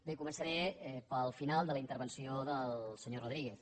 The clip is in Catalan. bé començaré pel final de la intervenció del senyor rodríguez